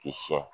K'i sɛn